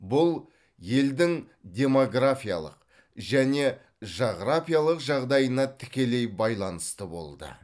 бұл елдің демографиялық және жағрапиялық жағдайына тікелей байланысты болды